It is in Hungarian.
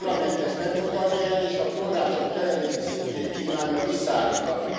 A Parlament ezt nem fogadja el, és a források jelenlegi szintjét kívánja visszaállítani.